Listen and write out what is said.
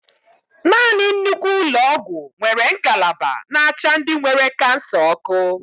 Nanị nnukwu ụlọ ọgwụ nwere ngalaba n'acha ndị nwere kansa ọkụ.